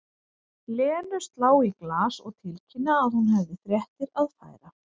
Lenu slá í glas og tilkynna að hún hefði fréttir að færa.